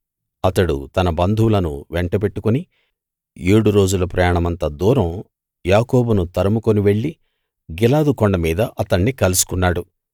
అతడు తన బంధువులను వెంటబెట్టుకుని ఏడు రోజుల ప్రయాణమంత దూరం యాకోబును తరుముకుని వెళ్లి గిలాదు కొండ మీద అతణ్ణి కలుసుకున్నాడు